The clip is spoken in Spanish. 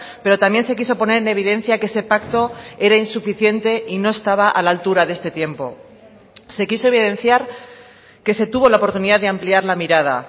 pero también se quiso poner en evidencia que ese pacto era insuficiente y no estaba a la altura de este tiempo se quiso evidenciar que se tuvo la oportunidad de ampliar la mirada